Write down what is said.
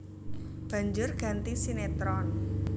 Banjur ganti sinétron